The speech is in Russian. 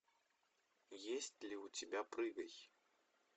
есть ли у тебя прыгай